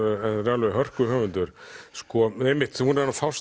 alveg hörku höfundur sko einmitt hún er að fást